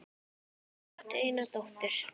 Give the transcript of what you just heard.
Þau áttu eina dóttur.